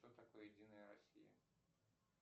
что такое единая россия